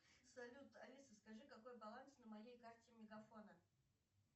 салют алиса скажи какой баланс на моей карте мегафона